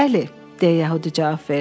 Bəli, deyə yəhudi cavab verdi.